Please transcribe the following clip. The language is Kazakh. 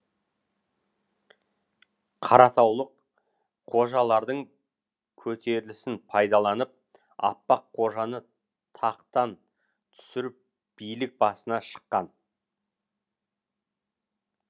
қаратаулық қожалардың көтерілісін пайдаланып аппақ қожаны тақтан түсіріп билік басына шыққан